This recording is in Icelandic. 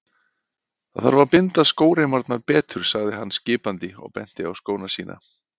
Það þarf að binda skóreimarnar betur sagði hann skipandi og benti á skóna sína.